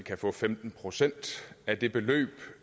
kan få femten procent af det beløb